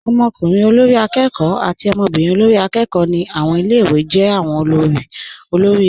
Ọmọkùnrin olórí akẹ́kọ̀ọ́. àti ọmọbírin olórí akẹ́kọ̀ọ́. ni awọn ilẹ̀-iwé jẹ́ awọn olóri ọmọ ilẹ̀-iwé.